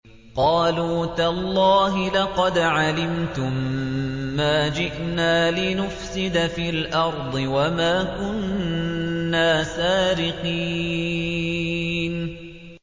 قَالُوا تَاللَّهِ لَقَدْ عَلِمْتُم مَّا جِئْنَا لِنُفْسِدَ فِي الْأَرْضِ وَمَا كُنَّا سَارِقِينَ